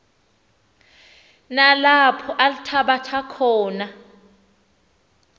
nalapho althabatha khona